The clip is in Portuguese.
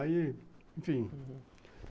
Aí, enfim, uhum.